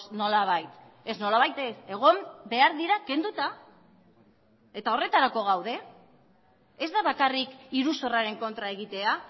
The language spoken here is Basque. nolabait ez nolabait ez egon behar dira kenduta eta horretarako gaude ez da bakarrik iruzurraren kontra egitea